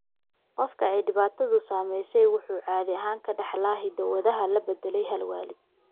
Qofka ay dhibaatadu saameysey wuxuu caadi ahaan ka dhaxlaa hiddo-wadaha la beddelay hal waalid.